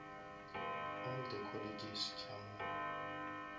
all the colleges tša mo